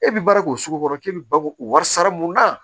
E bi baara k'o sugu kɔrɔ k'e bɛ bako wari sara mun kan